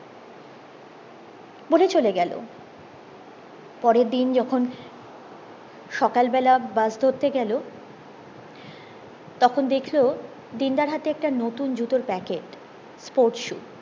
বলে চলে গেলো পরের দিন যখন সকাল বেলা বাস ধরতে গেলো তখন দেখলো দিন দার হাতে একটা নতুন জুতোর প্যাকেট sports shoes